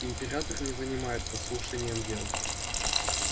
император не занимается слушанием дел